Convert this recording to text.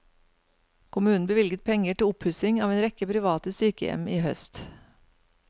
Kommunen bevilget penger til oppussing av en rekke private sykehjem i høst.